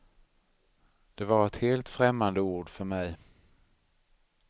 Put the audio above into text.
Det var ett helt främmande ord för mig.